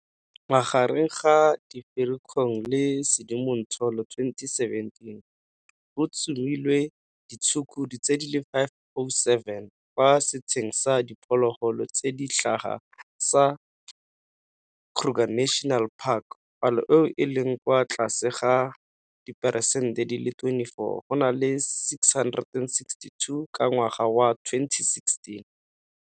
Magareng ga Firikgong le Sedimonthole 2017, go tsomilwe ditshukudu di le 507 kwa setsheng sa diphologolo tse di tlhaga sa Kruger National Park, palo eo e leng kwa tlase ka diperesente di le 24 go na le 662 ka ngwaga wa 2016.